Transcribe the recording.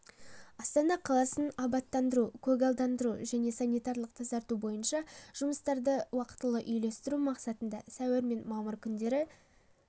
астана қаласын абаттандыру көгалдандыру және санитарлық тазарту бойынша жұмыстарды уақытылы үйлестіру мақсатында сәуір мен мамыр күндері